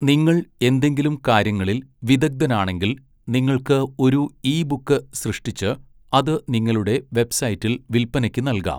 നിങ്ങൾ എന്തെങ്കിലും കാര്യങ്ങളിൽ വിദഗ്ധനാണെങ്കിൽ, നിങ്ങൾക്ക് ഒരു ഇ ബുക്ക് സൃഷ്ടിച്ച് അത് നിങ്ങളുടെ വെബ്സൈറ്റിൽ വിൽപ്പനയ്ക്ക് നൽകാം.